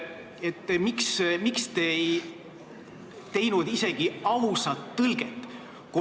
Miks te ei teinud isegi ausat tõlget?